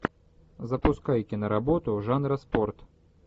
запускай киноработу жанра спорт